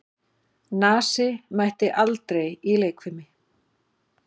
Nasi mætti aldrei í leikfimi.